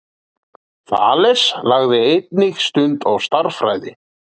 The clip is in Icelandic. Þales lagði einnig stund á stærðfræði.